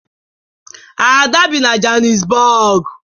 Ada bi na Johannesburg